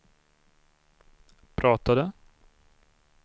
pratade